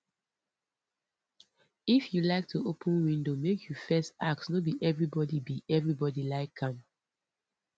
if you like to open window make you first ask no be everybody be everybody like am